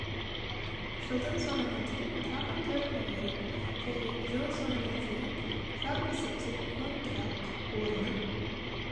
жылдың соңына дейін тағы төрт мың орын және жыл соңына дейін жалпы есепте мың тұрақ орнын